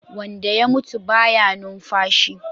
Wanda ya mutu baya numfashi